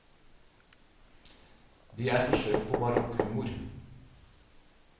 De er forsøk på barokk humor.